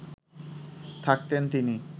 থাকতেন তিনি